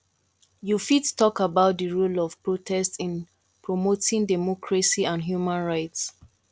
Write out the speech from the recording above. you fit talk about di role of protest in promoting democracy and human rights